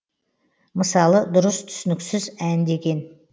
мысалы дұрыс түсініксіз ән деген